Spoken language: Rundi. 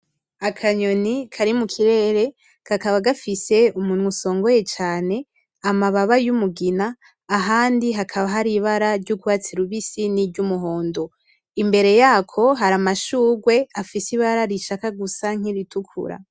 Akanyoni Kari mu kirere kakaba gafise umunwa usongoye cane amababa y'umugina ahandi hakaba hari ibara ry'ugwatsi rubisi ;ni iry'umuhondo. Imbere yako hari amashugwe afise ibara rishaka gusa n'iritukura.